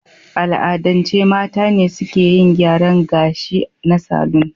A al'adance mata ne suke yin gyaran ga shi na salon.